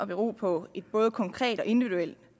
bero på et både konkret og individuelt